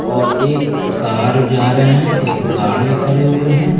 और एक कार जा रहें हैं एक गार्ड भी खड़े हुए हैं।